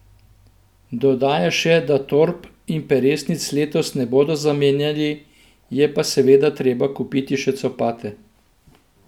Dodaja še, da torb in peresnic letos ne bodo zamenjali, je pa seveda treba kupiti še copate.